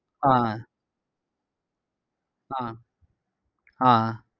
ஆஹ் அஹ் ஆஹ் அஹ்